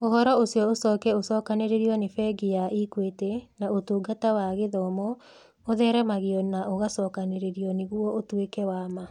Ũhoro ũcio ũcoke ũcookanĩrĩrio nĩ Bengi ya Equity na Ũtungata wa Gĩthomo, ũtheremagio na ũgacokanĩrĩrio nĩguo ũtuĩke wa ma.